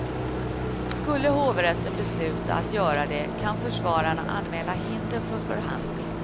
Skulle hovrätten besluta att göra det, kan försvararna anmäla hinder för förhandling.